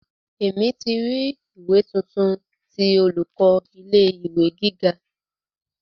Emi ti ri ìwé tuntun ti olùkọ́ ilé ìwé gíga.